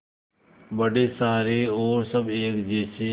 बड़े सारे और सब एक जैसे